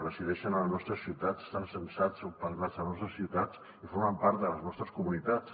resideixen a les nostres ciutats estan censats o empadronats a les nostres ciutats i formen part de les nostres comunitats